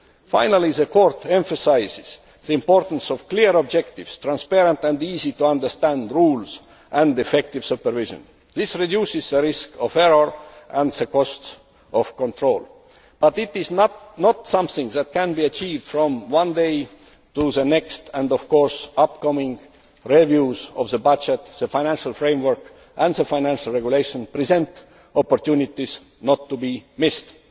Finally, the Court emphasises the importance of clear objectives, transparent and easy to understand rules, and effective supervision. This reduces the risk of error and the costs of control. However, it is not something that can be achieved from one day to the next and, of course, the upcoming reviews of the budget, the financial framework and the financial regulation present opportunities not to be